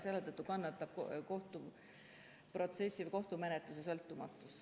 Selle tõttu kannatab kohtuprotsessil kohtumenetluse sõltumatus.